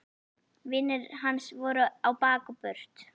Vinir hans voru á bak og burt.